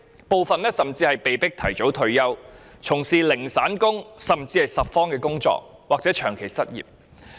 部分人甚至被迫提早退休，從事零散工，甚至拾荒或長期失業。